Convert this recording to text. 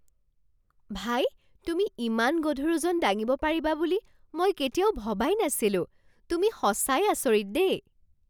ভাই! তুমি ইমান গধুৰ ওজন দাঙিব পাৰিবা বুলি মই কেতিয়াও ভবাই নাছিলো, তুমি সঁচাই আচৰিত দেই!!